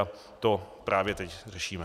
A to právě teď řešíme.